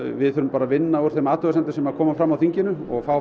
við þurfum bara að vinna úr þeim athugasemdum sem koma fram á þinginu og fá